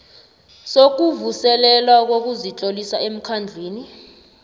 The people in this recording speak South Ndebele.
sokuvuselelwa kokuzitlolisa emkhandlwini